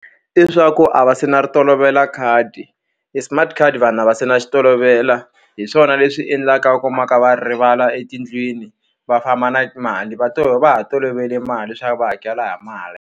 leswaku a va se na ri tolovela khadi, e smart card vanhu a va se na xi tolovela. Hi swona leswi endlaka ku va pfa va ri rivala etindlwini, va famba na mali. Va va ha tolovele mali leswaku va hakela hi mali.